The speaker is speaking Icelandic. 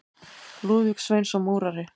Lúðvík Sveinsson múrari.